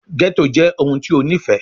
Ghetto jẹ ohun ti o nifẹ